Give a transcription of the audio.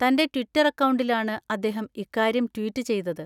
തന്‍റെ ട്വിറ്റർ അക്കൗണ്ടിലാണ് അദ്ദേഹം ഇക്കാര്യം ട്വീറ്റ് ചെയ്തത്.